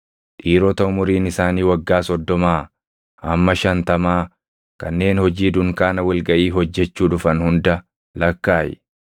Dhiirota umuriin isaanii waggaa soddomaa hamma shantamaa kanneen hojii dunkaana wal gaʼii hojjechuu dhufan hunda lakkaaʼi.